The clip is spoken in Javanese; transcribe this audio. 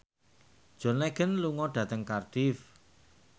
John Legend lunga dhateng Cardiff